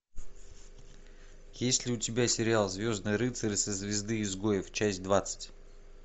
есть ли у тебя сериал звездный рыцарь со звезды изгоев часть двадцать